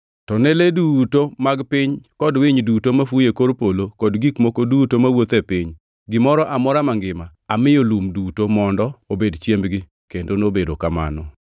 To ne le duto mag piny kod winy duto mafuyo e kor polo kod gik moko duto mawuotho e piny, gimoro amora mangima; amiyo lum duto mondo obed chiembgi.” Kendo nobedo kamano.